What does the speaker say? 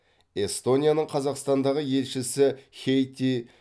эстонияның қазақстандағы елшісі хейти